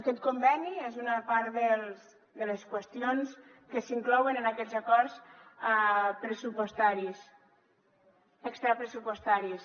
aquest conveni és una part de les qüestions que s’inclouen en aquests acords extrapressupostaris